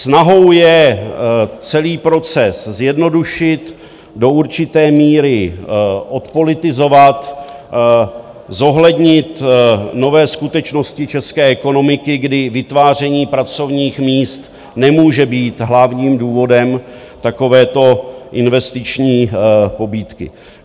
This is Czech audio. Snahou je celý proces zjednodušit, do určité míry odpolitizovat, zohlednit nové skutečnosti české ekonomiky, kdy vytváření pracovních míst nemůže být hlavním důvodem takovéto investiční pobídky.